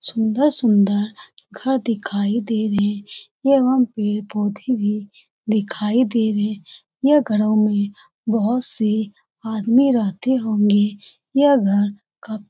सुंदर-सुंदर घर दिखाई दे रहे हैं । यहाँ पेड़-पोधे भी दिखाई दे रहे हैं । यह घरो में बोहोत से आदमी रहते होंगे । यह घर क --